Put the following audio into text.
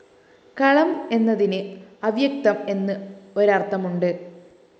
കളം എന്നതിന്‌ അവ്യക്തം എന്ന്‌ ഒരര്‍ഥമുണ്ട്‌